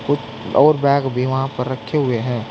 कुछ और बैग भी वहां पर रखे हुए हैं।